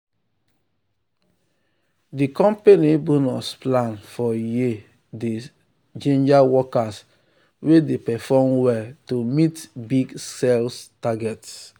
the company bonus plan for year dey ginger workers wey dey perform well to meet big sales target.